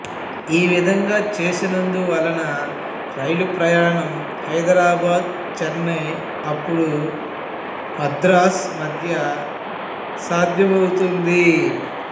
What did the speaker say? ఈ విధంగా చేసినందు వలన రైలు ప్రయాణం హైదరాబాదు చెన్నై అప్పుడు మద్రాసు మధ్య సాధ్యమవుతుంది